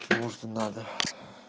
потому что надо